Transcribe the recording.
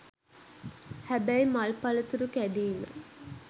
හැබැයි මල් පලතුරු කැඩීම